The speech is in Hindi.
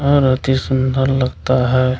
और अति सुंदर लगता है --